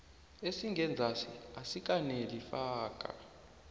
esingenzasi asikaneli faka